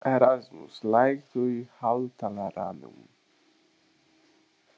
Erasmus, lækkaðu í hátalaranum.